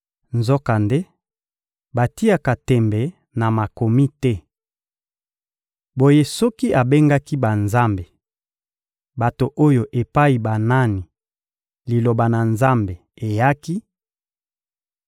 Nzokande, batiaka tembe na Makomi te. Boye, soki abengaki «banzambe,» bato oyo epai banani Liloba na Nzambe eyaki,